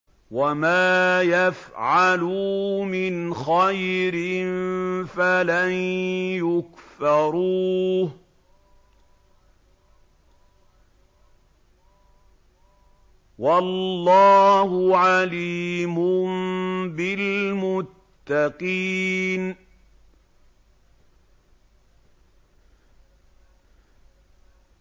وَمَا يَفْعَلُوا مِنْ خَيْرٍ فَلَن يُكْفَرُوهُ ۗ وَاللَّهُ عَلِيمٌ بِالْمُتَّقِينَ